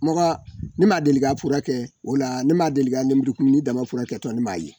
Mɔgɔ ne m ma deli ka fura kɛ o la ne ma deli ka lenburukumuni dama furakɛtɔ ne m'a ye